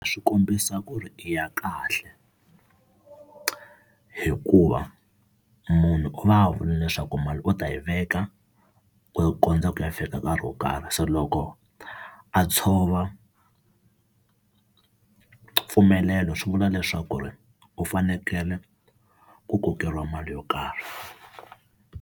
Swi kombisa ku ri i ya kahle hikuva munhu u va a vule leswaku mali u ta yi veka ku kondza ku ya fika nkarhi wo karhi, so loko a tshova mpfumelelo swi vula leswaku ri u fanekele ku kokeriwa mali yo karhi.